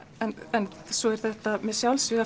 en svo er þetta með sjálfsvíg